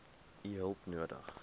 u hulp nodig